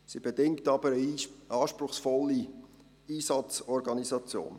Doch bedingt sie eine anspruchsvolle Einsatzorganisation.